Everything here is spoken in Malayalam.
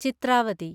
ചിത്രാവതി